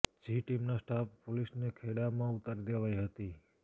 જી team ના staff પોલીસને ખેડામાં ઉતારી દેવાઈ હતી